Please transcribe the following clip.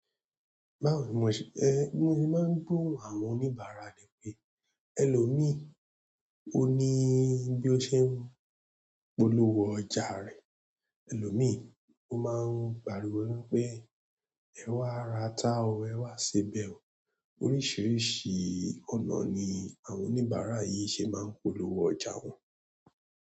Báwo ni mo ṣe, ẹ bi mo ṣe máa ń gbóhùn àwọn oníbàárà ní pé, "ẹ̀lò mii o ní bi o ṣe ń polówó ọjà rẹ, ẹlọ̀mii" o máa ń pariwo wipé, "ẹ wá ra atá o, ẹ wá sebẹ̀ o". Oríṣìíríṣìí ọ̀nà ni àwọn oníbàárà yìí ṣe máa ń polówó ọjà wọn.